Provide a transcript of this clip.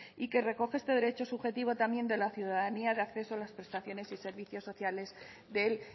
y que recoge este derecho subjetivo también de la ciudadanía de acceso a las prestaciones y servicios sociales del